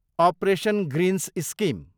operation greens scheme